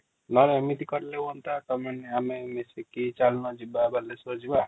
ନହେଲେ ଏମିତି କଲେ ହୁଅନ୍ତା ତମେ ଆମେ ମାନେ ମିଶିକି ଚାଲୁନ ଯିବା ବାଲେଶ୍ଵର ଯିବା |